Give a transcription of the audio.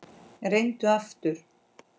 Reyndu aftur.